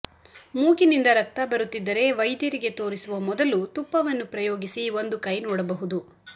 ಮೂಗಿನಿಂದ ರಕ್ತ ಬರುತ್ತಿದ್ದರೆ ವೈದ್ಯರಿಗೆ ತೋರಿಸುವ ಮೊದಲು ತುಪ್ಪವನ್ನು ಪ್ರಯೋಗಿಸಿ ಒಂದು ಕೈ ನೋಡಬಹುದು